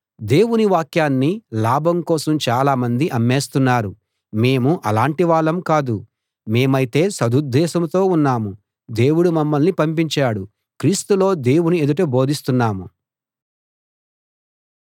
దేవుని వాక్యాన్ని లాభం కోసం చాలామంది అమ్మేస్తున్నారు మేము అలాంటి వాళ్ళం కాదు మేమైతే సదుద్దేశంతో ఉన్నాం దేవుడు మమ్మల్ని పంపించాడు క్రీస్తులో దేవుని ఎదుట బోధిస్తున్నాం